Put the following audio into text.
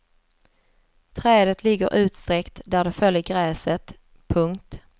Trädet ligger utsträckt där det föll i gräset. punkt